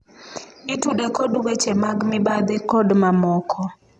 itude kod weche mag mibadhi kod mamoko